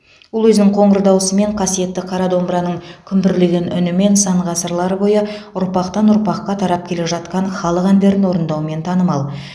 ол өзінің қоңыр даусымен қасиетті қара домбыраның күмбірлеген үнімен сан ғасырлар бойы ұрпақтан ұрпаққа тарап келе жатқан халық әндерін орындаумен танымал